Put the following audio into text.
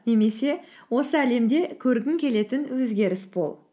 немесе осы әлемде көргің келетін өзгеріс бұл